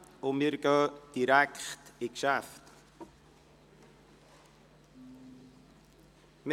Wir steigen direkt in die Geschäfte ein.